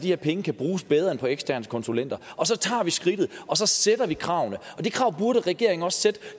her penge kan bruges bedre end på eksterne konsulenter og så tager vi skridtet og så sætter vi kravene det krav burde regeringen også sætte